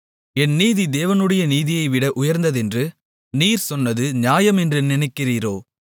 என் நீதி தேவனுடைய நீதியைவிட உயர்ந்ததென்று நீர் சொன்னது நியாயம் என்று நினைக்கிறீரோ